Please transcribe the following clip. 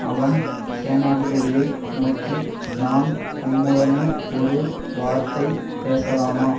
அவன் சேனாதிபதியை நோக்கி நான் உம்முடனே ஒரு வார்த்தை பேசலாமா